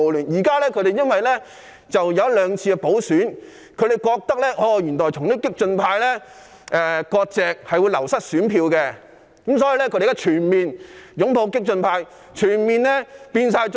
可是，經過一兩次補選後，他們發覺與激進派割席會令選票流失，所以現在便全面擁抱激進派，全面變成"縱暴派"。